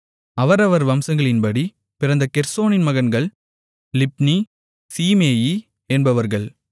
அவரவர் வம்சங்களின்படி பிறந்த கெர்சோனின் மகன்கள் லிப்னி சீமேயி என்பவர்கள்